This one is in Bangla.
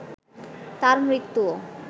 তার মৃত্যুও